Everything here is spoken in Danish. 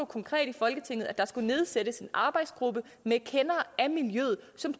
konkret i folketinget at der skulle nedsættes en arbejdsgruppe med kendere af miljøet som